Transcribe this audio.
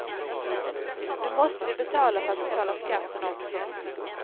Nu måste vi betala för att betala skatten också.